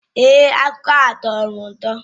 Èé, akụkọ ahụ tọrọ m ụtọ